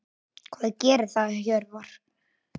Hvað gerir það Hjörvar?